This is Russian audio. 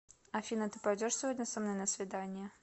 афина ты пойдешь сегодня со мной на свидание